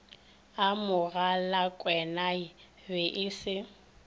a mogalakwenae be e se